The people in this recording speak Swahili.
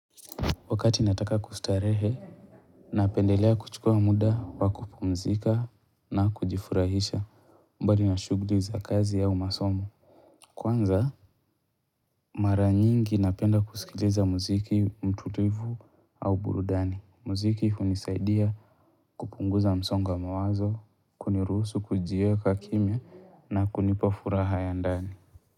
Wakati nataka kustarehe, napendelea kuchukua muda, wakupumzika na kujifurahisha mbali na shughuli za kazi au masomo. Kwanza, mara nyingi napenda kusikiliza muziki mtutivu au burudani. Mziki hunisaidia kupunguza msongo wa mawazo, kunirusu kujieka kimya na kunipa furaha ya ndani.